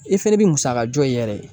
E fɛnɛ bɛ musaka jɔ i yɛrɛ ye